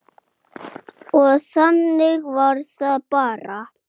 Og þannig var það bara.